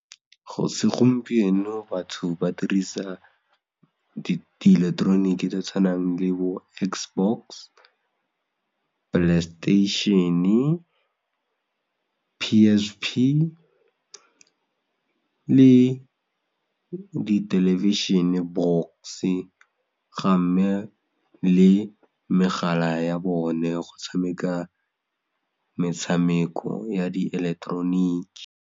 Segompieno batho ba dirisa di electronic-e tse di tshwanang le bo X box, Playstation-e, P_S_P le dithelebišhene box-e gamme le megala ya bone go tshameka metshameko ya dieleketeroniki.